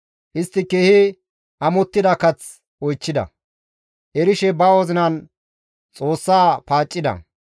Istti keehi amottida kath oychchida; erishe ba wozinan Xoossa paaccida.